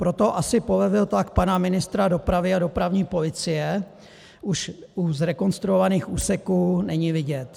Proto asi polevil tlak pana ministra dopravy a dopravní policie už u zrekonstruovaných úseků není vidět.